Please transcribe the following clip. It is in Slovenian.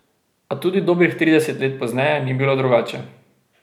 A tudi dobrih trideset let pozneje ni bilo drugače.